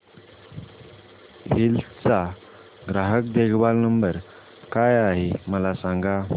hills चा ग्राहक देखभाल नंबर काय आहे मला सांग